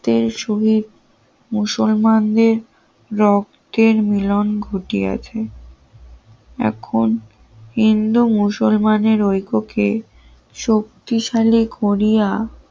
মুসলমানদের রক্তের মিলন ঘটি আছে এখন হিন্দু মুসলমানের ঐক্য কে শক্তিশালী করিয়া